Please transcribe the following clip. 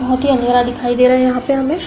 बोहत ही अँधेरा दिखाई दे रहा यहाँ पे हमें।